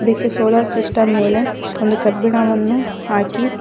ಇದಕ್ಕೆ solar system ಮೇಲೆ ಒಂದು ಕಬ್ಬಿಣವನ್ನು ಹಾಕಿ --